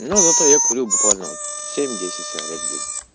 но зато я курю буквально вот семь десять сигарет в день